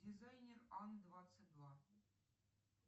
дизайнер ан двадцать два